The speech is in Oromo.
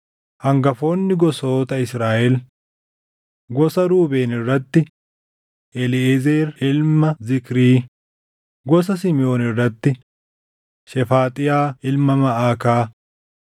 Hangafoonni gosoota Israaʼel: Gosa Ruubeen irratti: Eliiʼezer ilma Zikrii; gosa Simiʼoon irratti: Shefaaxiyaa ilma Maʼakaa;